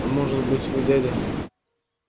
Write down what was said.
а может быть вы дядя